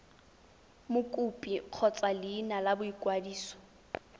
mokopi kgotsa leina la boikwadiso